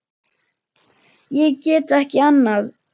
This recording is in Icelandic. Ég get ekki annað.